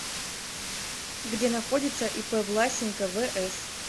где находится ип власенко вс